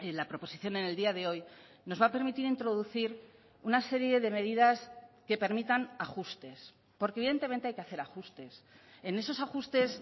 la proposición en el día de hoy nos va a permitir introducir una serie de medidas que permitan ajustes porque evidentemente hay que hacer ajustes en esos ajustes